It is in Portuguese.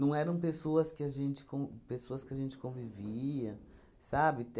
Não eram pessoas que a gente con pessoas que a gente convivia, sabe?